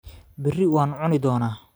Berri waan cuni doonaa